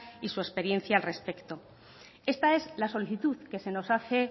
y su experiencia al respecto esta es la solicitud que se nos hace